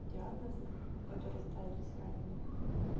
диагнозы которые ставились раннее